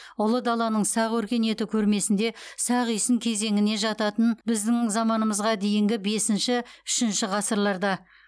ұлы даланың сақ өркениеті көрмесінде сақ үйсін кезеңіне жататын біздің заманымызға дейінгі бесінші үшінші ғасырларда